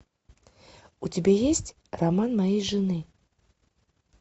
у тебя есть роман моей жены